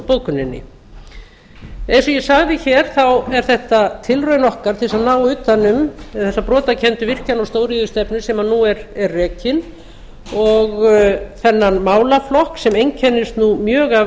bókuninni eins og ég sagði er þetta tilraun okkar til að ná utan um þessa brotakenndu virkjana og stóriðjustefnu sem nú er rekin og þennan málaflokk sem einkennist mjög af